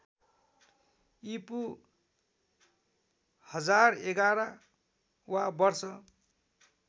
ईपू १०११ वा वर्ष